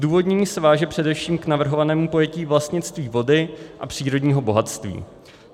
Zdůvodnění se váže především k navrhovanému pojetí vlastnictví vody a přírodního bohatství.